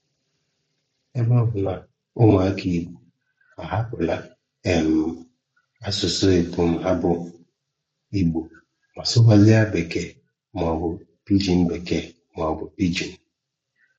Ebe ọ bụ na ụmụaka Igbo agbahapụla um asụsụ epum ha bụ Igbo ma sụwazịa Bekee maọbụ Pijin Bekee maọbụ Pijin (Pidgin)